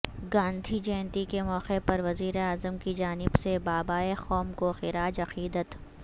گاندھی جینتی کے موقع پر وزیراعظم کی جانب سے بابائے قوم کو خراج عقیدت